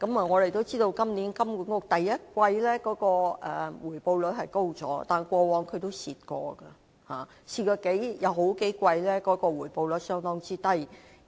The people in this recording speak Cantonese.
我們都知道，金管局今年第一季的回報率提高了，但過往也虧蝕過，曾有數季的回報率相當低。